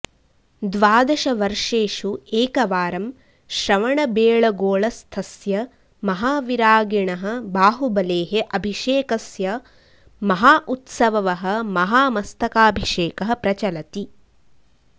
द्वादशवर्षेषु एकवारं श्रवणबेळगोळस्थस्य महाविरागिणः बाहुबलेः अभिषेकस्य महाउत्सववः महामस्तकाभिषेकः प्रचलति